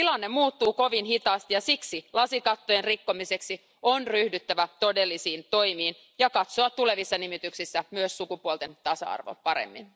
Tilanne muuttuu kovin hitaasti, ja siksi lasikatteen rikkomiseksi on ryhdyttävä todellisiin toimiin ja katsoa tulevissa nimityksissä myös sukupuolten tasa arvoa paremmin.